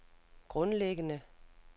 grundlæggende